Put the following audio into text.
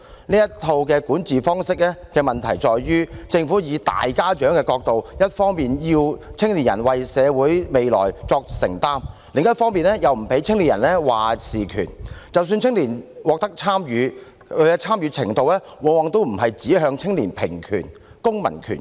這套管治方式的問題在於政府從大家長的角度，一方面要青年人為社會未來作承擔，但另一方面又不給予青年人"話事權"，即使青年獲准參與，其參與程度往往也不是指向青年平權、公民權等。